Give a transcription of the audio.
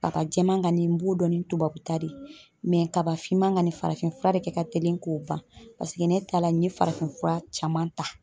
Baka jɛman kani n b'o dɔn ni tubabu ta de ye kaba finman ŋani farafin fura de kɛ ka telin k'o ban paseke ne ta la n ye farafin fura caman ta.